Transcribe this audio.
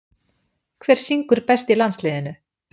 Hver syngur best í landsliðinu?